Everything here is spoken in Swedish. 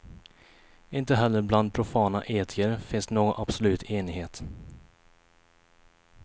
Inte heller bland profana etiker finns någon absolut enighet.